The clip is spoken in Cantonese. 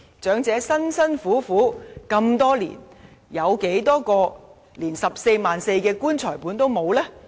長者辛苦了這麼多年，當中有多少位就連 144,000 元的"棺材本"也沒有呢？